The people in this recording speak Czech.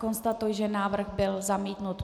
Konstatuji, že návrh byl zamítnut.